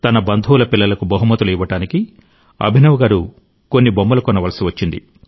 తన బంధువుల పిల్లలకు బహుమతులు ఇవ్వడానికి అభినవ్ గారు కొన్ని బొమ్మలు కొనవలసి వచ్చింది